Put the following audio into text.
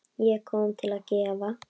Ég kom til að gefa.